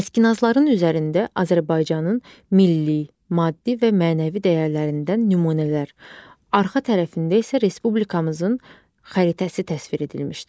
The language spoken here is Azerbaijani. Əskinasların üzərində Azərbaycanın milli, maddi və mənəvi dəyərlərindən nümunələr, arxa tərəfində isə Respublikamızın xəritəsi təsvir edilmişdir.